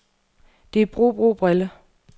Det er bro, bro, brille.